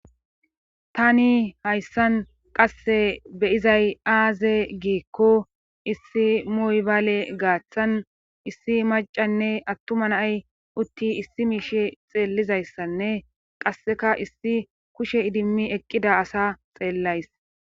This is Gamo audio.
tani hayssan qasse beyizay aaze giikko issi moybaale gaaththan issi macanne attuma nay utti issi miishe xeellizayssanne qasseka issi kushe idimmi eqqida asa xeellays